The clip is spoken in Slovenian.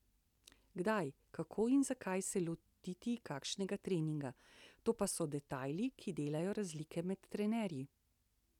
Kdaj, kako in zakaj se lotiti kakšnega treninga, to pa so detajli, ki delajo razlike med trenerji.